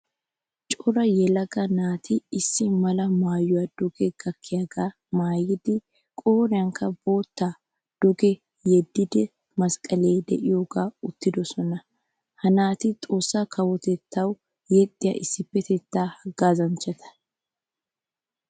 Cora yelaga naati issi mala maayuwaa duge gakkiyaga maayidi qoriyanikka boottaa duge yedidi masqqale deiyogaara uttidosona. Ha naati xoossa kawotettawu yexxiyaa issipetetta haggazanmchchata.